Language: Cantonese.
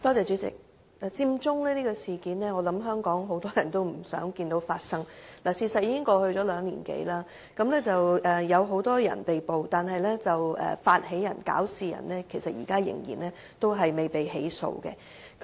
主席，我相信很多香港市民也不希望看到佔中事件發生，事實是兩年多已過，有很多人被捕，但發起人及搞事人現在仍然未被起訴。